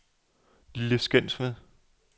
Lille Skensved